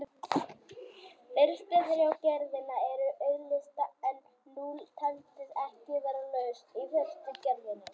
Fyrstu þrjár gerðirnar eru auðleystar en núll taldist ekki vera lausn í fyrstu gerðinni.